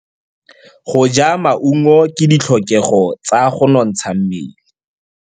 Go ja maungo ke ditlhokegô tsa go nontsha mmele.